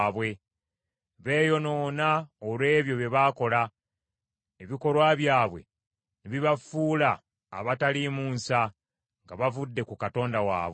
Beeyonoona olw’ebyo bye baakola, ebikolwa byabwe ne bibafuula abataliimu nsa nga bavudde ku Katonda waabwe.